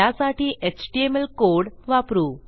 त्यासाठी HTML code वापरू